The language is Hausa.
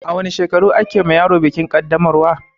A wanne shekaru ake yiwa yaro bikin kaddamarwa?